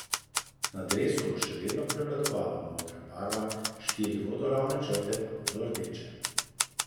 Na dresu bo še vedno prevladovala modra barva, štiri vodoravne črte pa bodo rdeče.